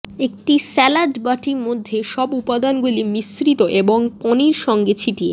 একটি স্যালাড বাটি মধ্যে সব উপাদানগুলি মিশ্রিত এবং পনির সঙ্গে ছিটিয়ে